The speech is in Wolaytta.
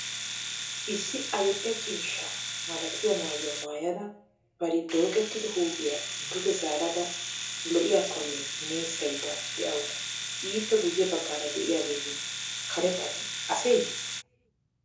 Issi adil'e ciishsha malatiya maayuwa maayada bari dooqettido huuphphiya duge zaarada lo'iyaakkonne nessayida dawusu. Ippe guyye baggaara diyageeti karettati aseeyye?